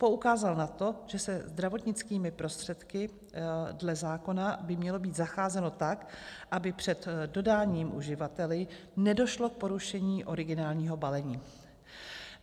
Poukázal na to, že se zdravotnickými prostředky dle zákona by mělo být zacházeno tak, aby před dodáním uživateli nedošlo k porušení originálního balení.